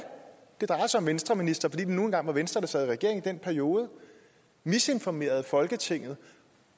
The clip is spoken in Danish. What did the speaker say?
det drejer sig om venstreministre fordi det nu engang var venstre der sad i regering i den periode misinformerede folketinget